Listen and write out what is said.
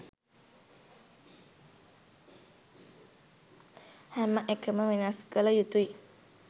හැම එකම වෙනස් කල යුතුයි